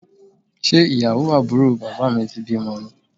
Ṣé ìyàwó àbúrò bàbá mi ti bímọ ni?